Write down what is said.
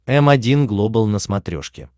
м один глобал на смотрешке